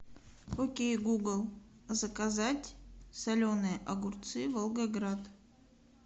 окей гугл заказать соленые огурцы волгоград